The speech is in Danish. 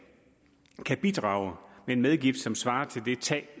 bidrage med en medgift som svarer til det tab